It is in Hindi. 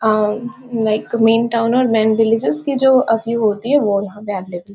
और लाइक मेन टाउन और मैन विल्लेजस की जो अभी होती है वो यहाँ पे अवेलेबल --